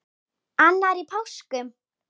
Annar í páskum.